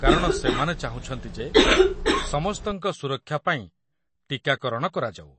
କାରଣ ସେମାନେ ଚାହୁଁଛନ୍ତି ଯେ ସମସ୍ତଙ୍କ ସୁରକ୍ଷା ପାଇଁ ଟୀକାକରଣ କରାଯାଉ।